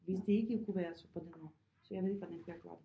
Hvis det ikke kunne være så på den måde så jeg ved ikke hvordan kunne jeg gøre det